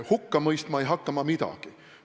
Hukka mõistma ei hakka ma midagi.